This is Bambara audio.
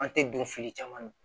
An tɛ don fili caman na